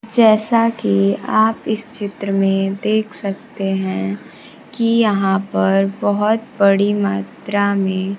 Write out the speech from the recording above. जैसा कि आप इस चित्र में देख सकते है कि यहां पर बहोत बड़ी मात्रा में--